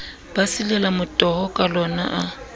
ba silela motoho kalona a